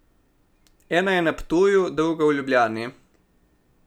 Ena je na Ptuju, druga v Ljubljani.